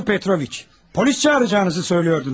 Piotr Petroviç, polis çağıracağınızı söylüyordunuz.